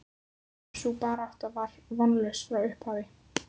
Sú barátta var vonlaus frá upphafi.